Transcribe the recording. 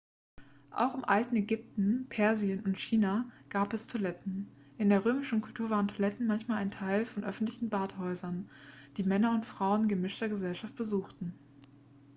auch im alten ägypten persien und china gab es toiletten in der römischen kultur waren toiletten manchmal teil von öffentlichen badehäusern die männer und frauen in gemischter gesellschaft besuchten